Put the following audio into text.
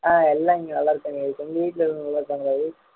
ஆஹ் எல்லாம் இங்க நல்லா இருக்காங்க உங்க வீட்டுல நல்லா இருக்காங்களா விவேக்